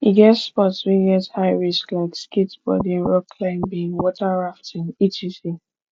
e get sports wey get high risk like skateboarding rock climbing water rafting etc